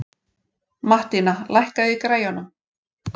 Mattína, lækkaðu í græjunum.